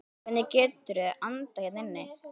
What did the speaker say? Hvernig geturðu andað hérna inni?